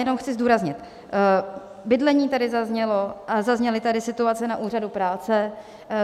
Jenom chci zdůraznit, bydlení tady zaznělo a zazněly tady situace na úřadu práce.